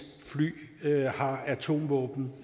fly har atomvåben